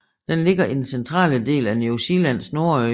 Den ligger i den centrale del af New Zealands nordø